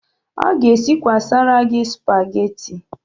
Ọ ga-esikwasara gị Spageti.